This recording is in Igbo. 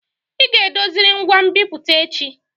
Ị ga edoziriri ngwa nbipute echi!